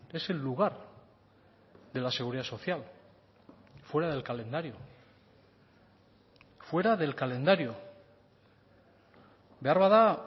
es el lugar de la seguridad social fuera del calendario fuera del calendario beharbada